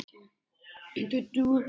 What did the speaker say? Það var létt spil.